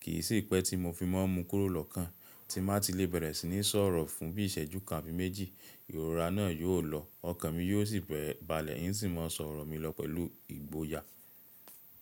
Kì í sì pẹ́ tí mo fi má ń mu kúrò lọ́kàn tí mà ti lè bẹ̀rẹ̀ sí ní sọ̀rọ̀ fún bí ìṣẹ́jú kan àfi méjì, ìrora náà yóò lọ, ọkàn mi yóò sì bẹ̀rẹ̀ balẹ̀ in sì máa sọ̀rọ̀ mi lọ pẹ̀lú ìgboyà.